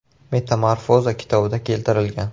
Metamorfoza” kitobida keltirilgan.